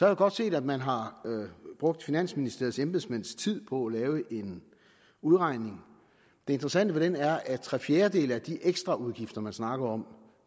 jeg godt set at man har brugt finansministeriets embedsmænds tid på at lave en udregning det interessante ved den er at tre fjerdedele af de ekstraudgifter man snakker om